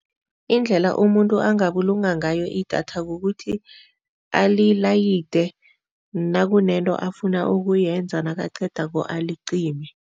Indlela umuntu angabulunga ngayo idatha kukuthi alilayide nakunento afuna ukuyenza nakaqedako alicime.